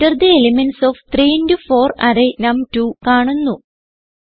enter the elements of 3 into 4 array നം2 കാണുന്നു